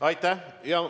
Aitäh!